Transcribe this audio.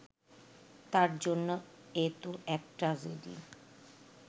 তাঁর জন্য এ তো এক ট্র্যাজেডি